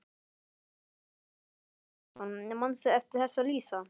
Magnús Hlynur Hreiðarsson: Manstu eftir þessu Lísa?